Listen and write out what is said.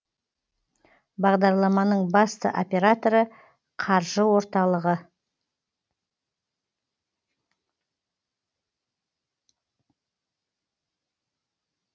бағдарламаның басты операторы қаржы орталығы